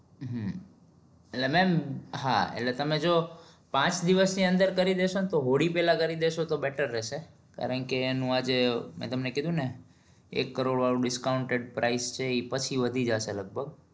હમ એટલે mem હા એટલે તમે જો પાંચ દિવસ ની અદર કરી દેશો તો હોળી પેહલા કરી દેશો તો best રેસે કારણકે એનું આજે મેં તમને કીધું એક કરોડ વાળું discount price છે એ પછી વધી જશે લગભગ